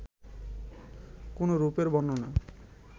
কোন রূপের বর্ণনা